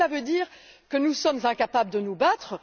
Cela veut il dire que nous sommes incapables de nous battre?